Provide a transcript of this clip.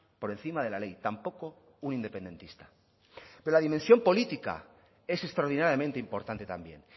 por encima de la ley tampoco un independentista pero la dimensión política es extraordinariamente importante también